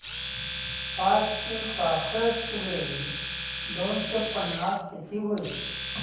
पाचशे सहासष्ट बेरीज दोनशे पन्नास किती होईल